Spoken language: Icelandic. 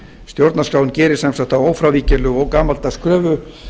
stjórnarskráin gerir sem sagt þá ófrávíkjanlegu og gamaldags kröfu